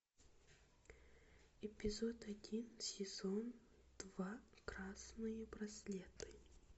эпизод один сезон два красные браслеты